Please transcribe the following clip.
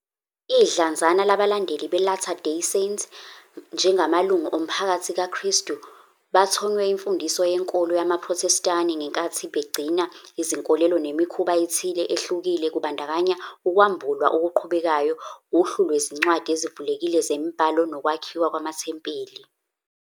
Idlanzana labalandeli beLatter Day Saint, njengamalungu oMphakathi kaKristu, bathonywe imfundiso yenkolo yamaProthestani ngenkathi begcina izinkolelo nemikhuba ethile ehlukile kubandakanya ukwambulwa okuqhubekayo, uhlu lwezincwadi ezivulekile zemibhalo nokwakhiwa kwamathempeli.